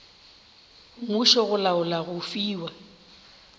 mmušo go laola go fiwa